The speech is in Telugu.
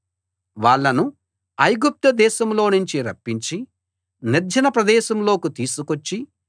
వాళ్ళను ఐగుప్తు దేశంలోనుంచి రప్పించి నిర్జన ప్రదేశంలోకి తీసుకొచ్చి